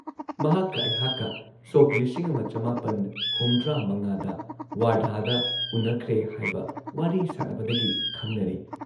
ꯃꯍꯥꯛꯀ ꯑꯩꯍꯥꯛꯀ ꯁꯣꯛ ꯂꯤꯁꯤꯡ ꯑꯃ ꯆꯃꯥꯄꯟ ꯍꯨꯝꯗ꯭ꯔꯥꯃꯉꯥꯗ ꯋꯥꯔꯙꯥꯗ ꯎꯟꯅꯈ꯭ꯔꯦ ꯍꯥꯏꯕ ꯋꯥꯔꯤ ꯁꯥꯟꯅꯕꯗꯒꯤ ꯈꯪꯅꯔꯦ ꯫